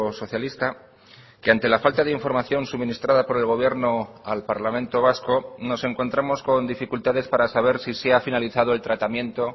socialista que ante la falta de información suministrada por el gobierno al parlamento vasco nos encontramos con dificultades para saber si se ha finalizado el tratamiento